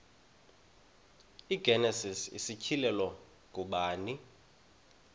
igenesis isityhilelo ngubani